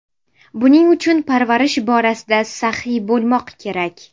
Buning uchun parvarish borasida saxiy bo‘lmoq kerak.